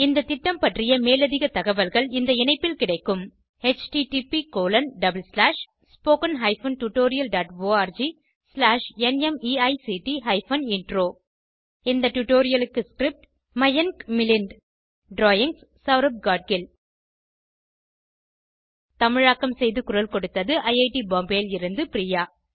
இந்த திட்டம் பற்றிய மேலதிக தகவல்கள் இந்த இணைப்பில் கிடைக்கும் httpspoken tutorialorgNMEICT Intro இந்த டுடோரியலுக்கு ஸ்க்ரிப்ட் மயன்க் மிலின்ட் ட்ராயிங்ஸ் செளரப் காட்கில் தமிழாக்கம் செய்து குரல் கொடுத்தது ஐஐடி பாம்பேவில் இருந்து பிரியா